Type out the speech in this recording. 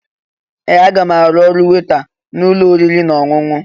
Ee! Aga m arụ ọrụ weta n'ụlọ oriri na ọṅụṅụ.